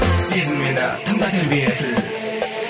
сезін мені тыңда тербетіл